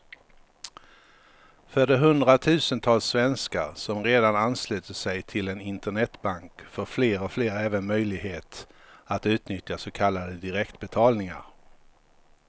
För de hundratusentals svenskar som redan anslutit sig till en internetbank får fler och fler även möjlighet att utnyttja så kallade direktbetalningar.